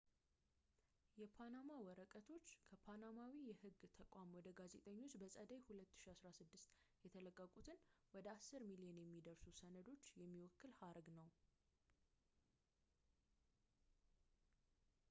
"የፓናማ ወረቀቶች ከፓናማዊ የህግ ተቋም ወደ ጋዜጠኞች በጸደይ 2016 የተለቀቁትን ወደ አስር ሚሊዮን የሚደርሱ ሰነዶችን የሚወክል ሀረግ ነው።